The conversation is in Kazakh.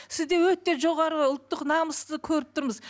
сізде өте жоғары ұлттық намысты көріп тұрмыз